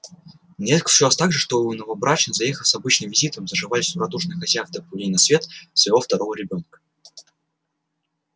нередко случалось также что и новобрачные заехав с обычным визитом заживались у радушных хозяев до появления на свет своего второго ребёнка